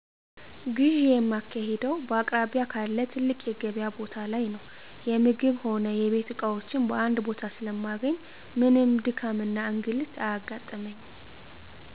ግዢ የማካሂደው በአቅራቢያ ካለ ትልቅ የገቢያ ቦታ ላይ ነው። የምግብ ሆነ የቤት እቃዎችን በአንድ ቦታ ስለማገኝ ምንም ድካምና እንግልት አያጋጥመኝ።